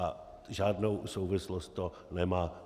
A žádnou souvislost to nemá.